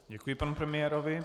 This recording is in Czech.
Děkuji panu premiérovi.